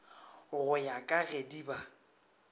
go ya ka gedi ba